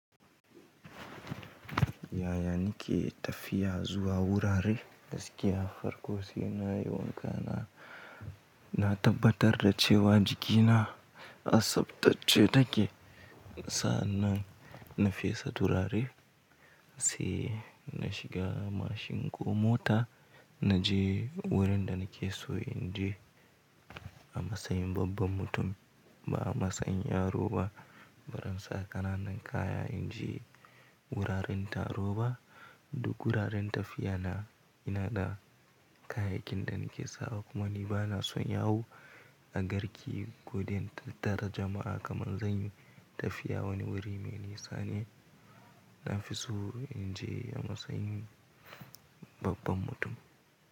Yaya nike tafiya zuwa wurare? Gaskiya Farko sai na yi wonka na, na tabbatar da cewa jikina a tsabtacce take. Sa'an na fesa turare sai na shiga mashin ko mota na je wurin da nake so in je a matsayin babban mutum ba a matsayin yaro ba. Ba zan sa ƙananan kaya in je wuraren taro ba duk wuraren tafiya na, ina da kayayyakin da nake sawa. Kuma ni ba na son yawo a garki ko dai in tatara jama'a kamar zan yi tafiya wani wuri mai nisa ne. Na fi so in je a matsayin babban mutum.